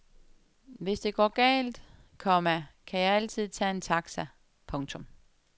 Hvis det går galt, komma kan jeg altid tage en taxa. punktum